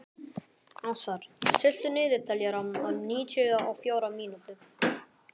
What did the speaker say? Ásar, stilltu niðurteljara á níutíu og fjórar mínútur.